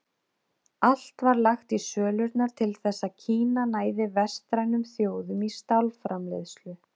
Allt var lagt í sölurnar til þess að Kína næði vestrænum þjóðum í stálframleiðslu.